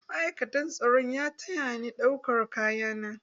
Ma'aikatan tsaron ya taya ni ɗaukan kaya na.